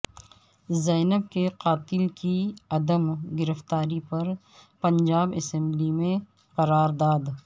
زینب کے قاتل کی عدم گرفتاری پر پنجاب اسمبلی میں قرارداد